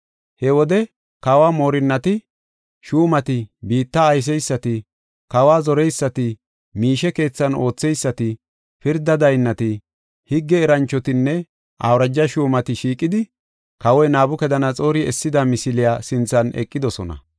He wode kawo moorinnati, shuumati, biitta ayseysati, kawa zoreysati, miishe keethan ootheysati, pirda daynnati, higge eranchotinne awuraja shuumati shiiqidi, kawoy Nabukadanaxoori essida misiliya sinthan eqidosona.